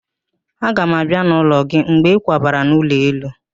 Aga m abịa n'ụlọ gị mgbe ịkwabara n'ụlọ elu